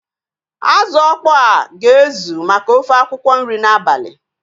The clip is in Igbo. Azụ ọkpọa ga-ezu maka ofe akwụkwọ nri n'abalị